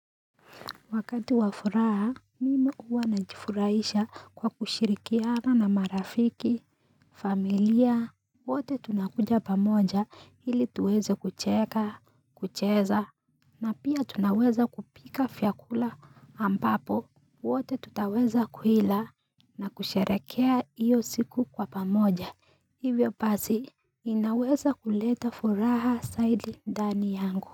Wakati wafuraha, mimi uwa najifurahisha kwa kushirikiana na marafiki, familia, wote tunakuja pamoja ili tuweze kucheka, kucheza, na pia tunaweza kupika vyakula ambapo wote tutaweza kuhila na kusherehekea iyo siku kwa pamoja. Hivyo pasi, ninaweza kuleta furaha saidi dani yangu.